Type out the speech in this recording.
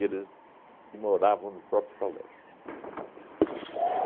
eles que moravam no próprio colégio.